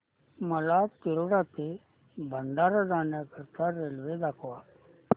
मला तिरोडा ते भंडारा जाण्या करीता रेल्वे दाखवा